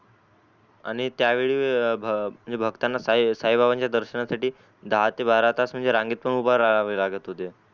आणि त्या वेळी भक्ताना साई बाबांच्या दर्शना साठी दहा ते बारा तास म्हणजे रांगेत उभे राहवे लागत होते